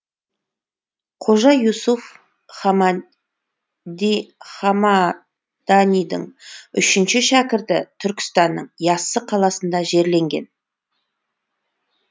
қожа юсуф хамаданидің үшінші шәкірті түркістанның яссы қаласында жерленген